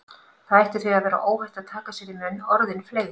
Það ætti því að vera óhætt að taka sér í munn orðin fleygu